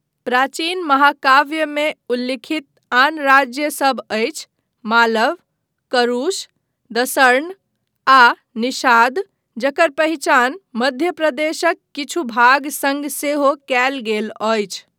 प्राचीन महाकाव्यमे उल्लिखित आन राज्यसभ अछि मालव, करुष, दसर्ण आ निषाद जकर पहिचान मध्यप्रदेशक किछु भाग सङ्ग सेहो कयल गेल अछि।